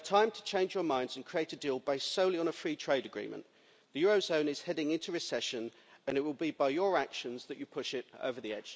You have time to change your minds and create a deal based solely on a free trade agreement. The eurozone is heading into recession and it will be by your actions that you push it over the